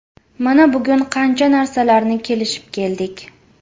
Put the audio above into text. Mana bugun qancha narsalarni kelishib keldik.